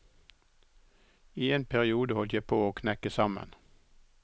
I en periode holdt jeg på å knekke sammen.